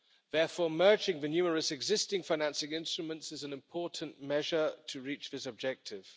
Therefore, merging the numerous existing financing instruments is an important measure to reach this objective.